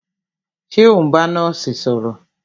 Ṣé o n bá nọ́ọ̀sì sọ̀rọ̀?